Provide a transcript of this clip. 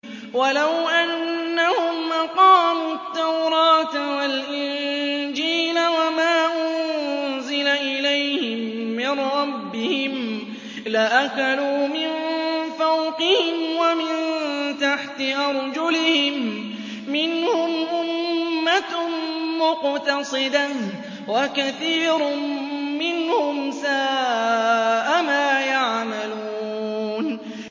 وَلَوْ أَنَّهُمْ أَقَامُوا التَّوْرَاةَ وَالْإِنجِيلَ وَمَا أُنزِلَ إِلَيْهِم مِّن رَّبِّهِمْ لَأَكَلُوا مِن فَوْقِهِمْ وَمِن تَحْتِ أَرْجُلِهِم ۚ مِّنْهُمْ أُمَّةٌ مُّقْتَصِدَةٌ ۖ وَكَثِيرٌ مِّنْهُمْ سَاءَ مَا يَعْمَلُونَ